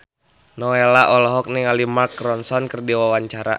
Nowela olohok ningali Mark Ronson keur diwawancara